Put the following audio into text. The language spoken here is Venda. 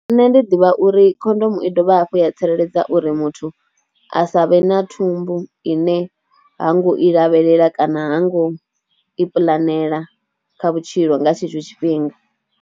Nṋe ndi ḓivha uri khondomo i dovha hafhu ya tsireledza uri muthu a sa vhe na thumbu ine ha ngo i lavhelela kana ha ngo i puḽanela kha vhutshilo nga tshetsho tshifhinga.